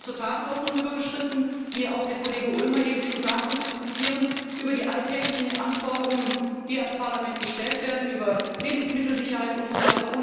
Wir sind hier zur Tagesordnung übergegangen wie auch der Kollege Ulmer eben schon sagte und diskutieren über die alltäglichen Anforderungen, die an das Parlament gestellt werden, über Lebensmittelsicherheit usw.,